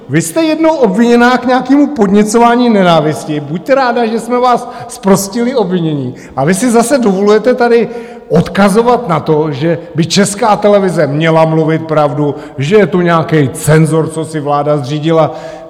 Vy jste jednou obviněná k nějakému podněcování nenávisti, buďte ráda, že jsme vás zprostili obvinění, a vy si zase dovolujete tady odkazovat na to, že by Česká televize měla mluvit pravdu, že je tu nějaký cenzor, co si vláda zřídila.